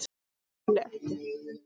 ÉG ÞOLI EKKI